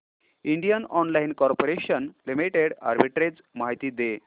Indian oil corporation limited arbitrage माहिती दे